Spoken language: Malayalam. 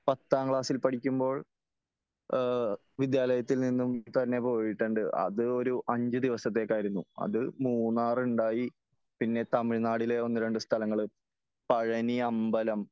പത്താം ക്ലാസ്സിൽ പടിക്കുമ്പോൾ എ വിദ്യാലയത്തിൽ നിന്നും തന്നെ പോയിട്ടുണ്ട് . അത് ഒരു അഞ്ച് ദിവസത്തേക്ക് ആയിരുന്നു . അതു മൂന്നാറ് ഉണ്ടായി പിന്നെ തമിഴ്നാടിലെ ഒന്ന് രണ്ടു സ്ഥലങ്ങള് പഴനി അമ്പലം